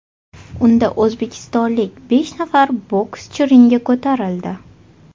Unda o‘zbekistonlik besh nafar bokschi ringga ko‘tarildi.